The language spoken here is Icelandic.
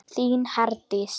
Þín Herdís.